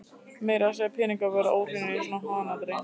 Meira að segja peningar verða óhreinir í svona hanaati.